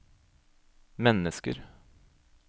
mennesker